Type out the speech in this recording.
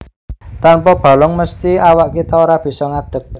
Tanpa balung mesthi awak kita ora bisa ngadeg